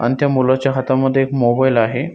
अण त्या मुलाच्या हातामध्ये एक मोबाइल आहे.